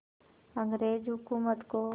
अंग्रेज़ हुकूमत को